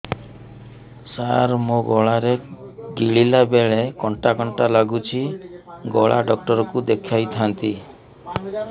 ସାର ମୋ ଗଳା ରେ ଗିଳିଲା ବେଲେ କଣ୍ଟା କଣ୍ଟା ଲାଗୁଛି ଗଳା ଡକ୍ଟର କୁ ଦେଖାଇ ଥାନ୍ତି